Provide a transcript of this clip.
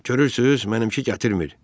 Görürsüz, mənimki gətirmir.